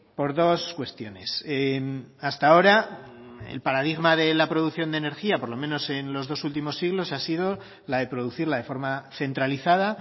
por dos cuestiones hasta ahora el paradigma de la producción de energía por lo menos en los dos últimos siglos ha sido la de producirla de forma centralizada